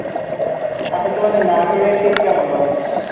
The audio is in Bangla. আচ্ছা তোমাদের এর শীত কেমন বলোতো?